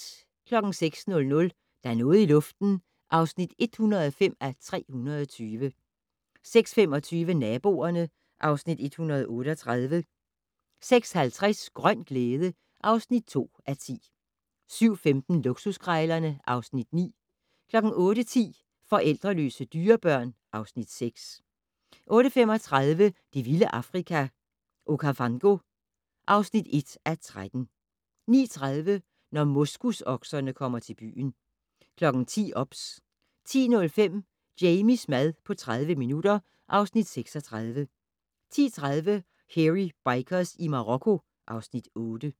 06:00: Der er noget i luften (105:320) 06:25: Naboerne (Afs. 138) 06:50: Grøn glæde (2:10) 07:15: Luksuskrejlerne (Afs. 9) 08:10: Forældreløse dyrebørn (Afs. 6) 08:35: Det vilde Afrika - Okavango (1:13) 09:30: Når moskusokserne kommer til byen 10:00: OBS 10:05: Jamies mad på 30 minutter (Afs. 36) 10:30: Hairy Bikers i Marokko (Afs. 8)